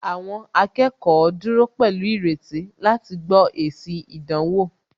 Àwọn akẹ́kọ̀ọ́ dúró pẹ̀lú ìrètí láti gbó èsì ìdánwò